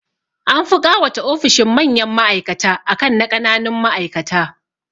An fi ƙawata ofishin manyan ma'aikata akan na ƙananun ma'aikata